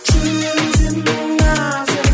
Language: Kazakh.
жүрегің сенің нәзік